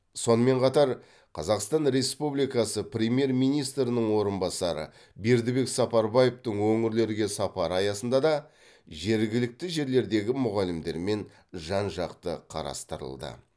сонымен қатар қазақстан республикасы премьер министрінің орынбасары бердібек сапарбаевтың өңірлерге сапары аясында да жергілікті жерлердегі мұғалімдермен жан жақты қарастырылды